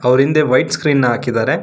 ಅವರ ಹಿಂದೆ white screen ಹಾಕಿದ್ದಾರೆ.